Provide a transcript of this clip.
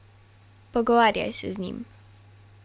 Pogovarjaj se z njim.